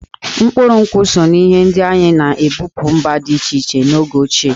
Mkpụrụ nkwụ so n'ihe ndị anyị na-ebupu mba dị iche iche n'oge ochie.